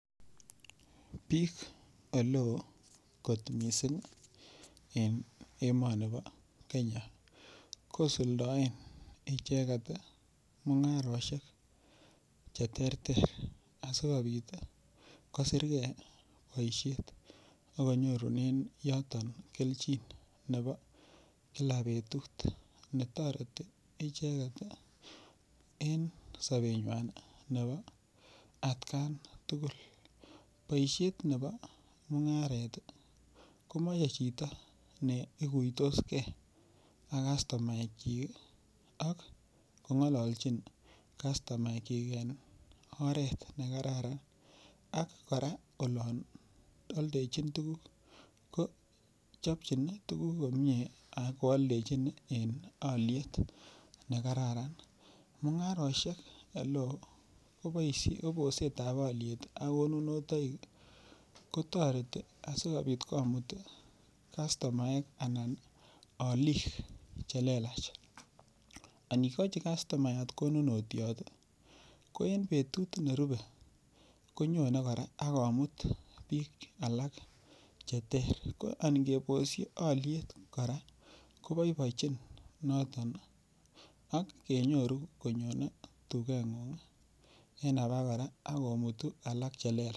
Biik ole oo kot mising' en emoni bo Kenya kosuldoen icheget mung'aroshek cheterter asikobit kosirkei boishet akonyorunen yoto keljin nebo kila betut netoreti ichek en sobenywai nebo atkan tugul boishet nebo mung'aret komochei chito ne ikuitoagei ak kastomaekchik ak kong'ololjin kastomaekchik en oret nekararan ak kora olon oldejin tukuk kochopchini tukuk komye ak kooldejini en oliet nekararan mung'aroshek ole oo koboishe bosetab oliet ak konunotoik kotoreti asikobit komut kastomaek anan olik chelelach anikojin kastomayat konunotyot ko en betut nerubei konyone kora akomuto biik alak cheter angebosi oliet kora koboibochin noto ak enyoru konyo dukeng'ung eng' alak kora akomut alak chelelach